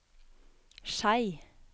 Skei